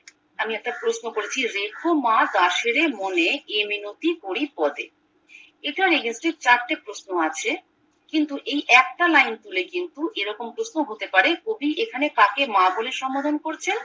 আমি একটা প্রশ্ন করছি রেখো মা দাসেরে মনে এ মিনতি করি পদে এটার চারটে প্রশ্ন আছে কিন্তু এ একটা লাইন তুলে কিন্তু এরকম প্রশ্ন হতে পারে কবি এখানে কাকে মা বলে সম্বোধন করছেন